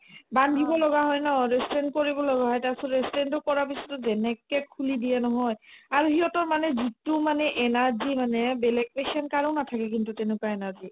বান্ধিব লগা হয় ন restraint কৰিব লগা তাৰপিছত restraint তো কৰাৰ পিছতো যেনেকে খুলি দিয়ে নহয় আৰু সিহঁতৰ মানে যিটো মানে energy মানে বেলেগ patient কাৰো নাথাকে কিন্তু তেনেকুৱা energy